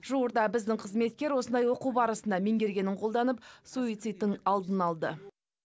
жуырда біздің қызметкер осындай оқу барысында меңгергенін қолданып суицидтің алдын алды